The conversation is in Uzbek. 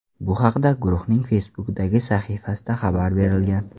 Bu haqda guruhning Facebook’dagi sahifasida xabar berilgan .